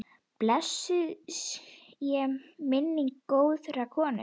Blessuð sé minning góðrar konu.